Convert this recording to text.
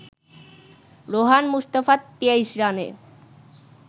রোহান মুস্তাফা ২৩ রানে